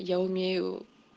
я умею